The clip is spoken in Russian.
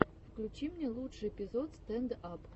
включи мне лучший эпизод стэнд ап